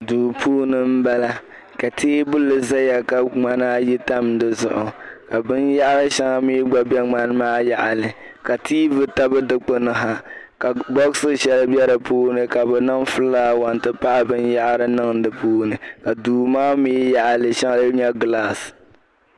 Duu puuni m bala ka teebuli zaya ka ŋmana ayi tam di zuɣu ka bin yaɣiri shɛŋa mi gba be ŋmani maa yaɣili ka tv tabi di kpini maa yaɣili ka bolifu shɛli be di puuni ka bi niŋ "flower" n ti pahi binyɛhiri niŋ di puuni ka duu maa mi yaɣi li shɛli "glass".